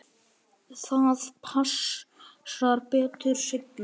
Það passar betur seinna.